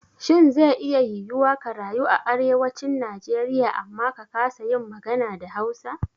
Shin ze iya yiwuwa ka rayu a Arewacin Najeriya amma ka kasa yin magana da Hausa?